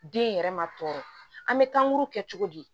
Den yɛrɛ ma tɔɔrɔ an bɛ tan kuru kɛ cogo di